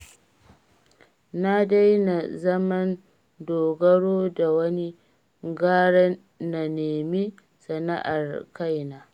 Na daina zaman dogaro da wani, gara na nemi sana'ar kaina